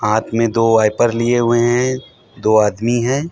हाथ में दो वाइपर लिए हुए है दो आदमी हैं।